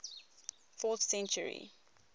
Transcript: fourth century